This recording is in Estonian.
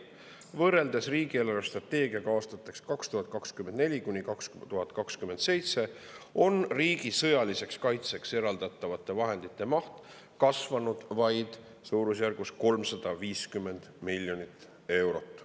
Võrreldes riigi eelarvestrateegiaga aastateks 2024–2027 on riigi sõjaliseks kaitseks eraldatavate vahendite maht kasvanud vaid suurusjärgus 350 miljonit eurot.